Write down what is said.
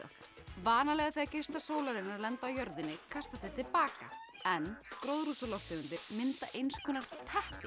vanalega þegar geislar sólarinnar lenda á jörðinni kastast þeir til baka en gróðurhúsalofttegundir mynda eins konar teppi